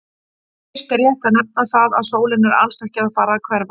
Fyrst er rétt að nefna það að sólin er alls ekki að fara að hverfa!